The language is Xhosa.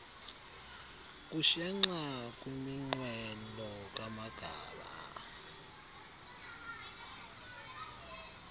kushenxa kwiminqweno kamagaba